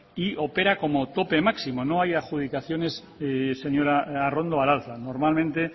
y opera como tope máximo no hay adjudicaciones señora arrondo al alza normalmente